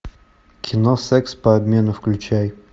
кино секс по обмену включай